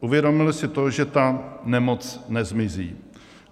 Uvědomili si to, že ta nemoc nezmizí.